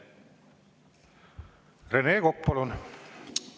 Rene Kokk, palun!